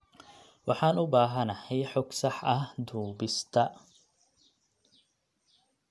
Waxaan u baahanahay xog sax ah duubista.